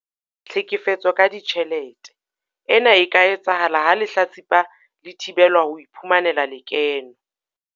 Tlhekefetso ka ditjhelete- Ena e ka etsahala ha lehlatsipa le thibelwa ho iphumanela lekeno.